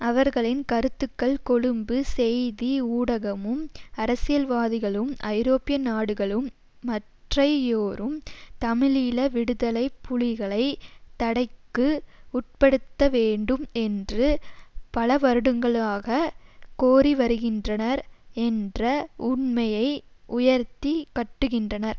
அவர்களின் கருத்துக்கள் கொழும்பு செய்தி ஊடகமும் அரசியல்வாதிகளும் ஐரோப்பியநாடுகளும் மற்றையோரும் தமிழீழ விடுதலை புலிகளை தடைக்கு உட்படுத்த வேண்டும் என்று பலவருடங்களாக கோரிவருகின்றனர் என்ற உண்மையை உயர்த்தி கட்டுகின்றனர்